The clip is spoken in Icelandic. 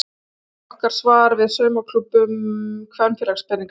Þetta er okkar svar við saumaklúbbum kvenpeningsins.